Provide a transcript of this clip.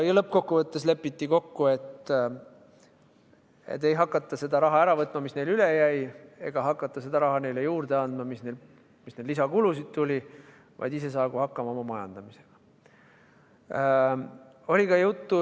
Lõppkokkuvõttes lepiti kokku, et ei hakata seda raha ära võtma, mis neil üle jäi, ega hakata seda raha neile juurde andma, kui neil lisakulusid tuli, vaid saagu ise hakkama oma majandamisega.